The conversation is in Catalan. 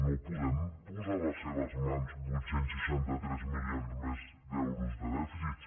no podem posar a les seves mans vuit cents i seixanta tres milions més d’euros de dèficit